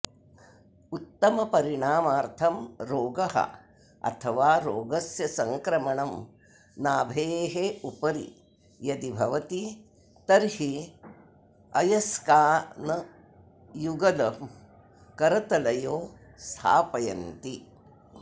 उत्तमपरिणामार्थं रोगः अथवा रोगस्य संक्रमणं नाभेः उपरि यदि भवति तर्हि अयस्कानयुगलम् करतलयोः स्थापयन्ति